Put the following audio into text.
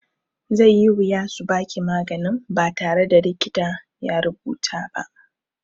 Zai yi wuya su baki maganin ba tare da likita ya rubuta ba.